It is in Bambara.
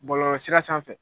Bɔlɔlɔ sira sanfɛ